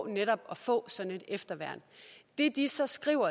netop at få sådan et efterværn det de så skrev